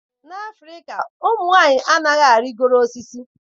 N'Afrịka ụmụ nwanyị anaghị arịgoro osisi